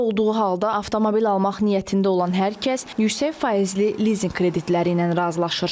Belə olduğu halda avtomobil almaq niyyətində olan hər kəs yüksək faizli lizinq kreditləri ilə razılaşır.